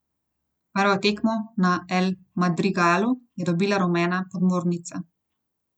Prvo tekmo na El Madrigalu je dobila rumena podmornica.